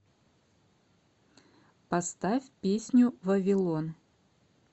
поставь песню вавилон